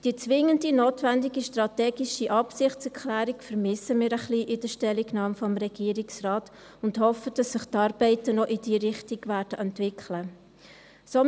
Die zwingend notwendige strategische Absichtserklärung vermissen wir in der Stellungnahme des Regierungsrates ein wenig und hoffen, dass sich die Arbeiten noch in diese Richtung entwickeln werden.